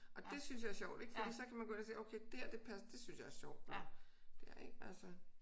Og det synes jeg er sjovt ik fordi så kan man gå ind og se okay dér det det synes jeg er sjovt og ja ik altså